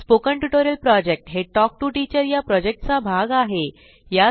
spoken tutorial project हे talk to teacher या प्रॉजेक्टचा भाग आहे